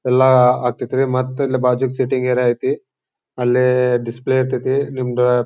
ಎಲ್ಲ ಆಕ್ಠೇತ್ ರೀ ಮತ್ತ ಇಲ್ಲಿ ಬಾಜೂಕ ಸಿಟ್ಟಿಂಗ್ ಏರಿಯಾ ಐತಿ ಅಲ್ಲೇ ಡಿಸ್ಪ್ಲೇ ಇರತೈತಿ ನಿಮ್ಗ--